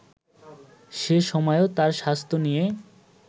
সে সময়ও তার স্বাস্থ্য নিয়ে